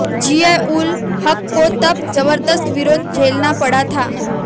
जिया उल हक़ को तब ज़बरदस्त विरोध झेलना पड़ा था